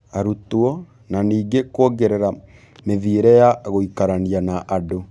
Arutwo, na ningĩ kwongerera mĩthiĩre ya gũikarania na andũ.